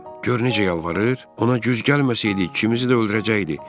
Gör necə yalvarır, ona güz gəlməsəydik ikimizi də öldürəcəkdi.